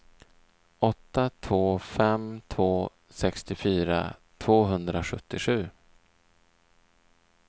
åtta två fem två sextiofyra tvåhundrasjuttiosju